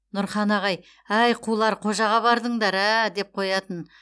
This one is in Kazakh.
нұрхан ағай әй қулар қожаға бардыңдар ә ә деп қоятын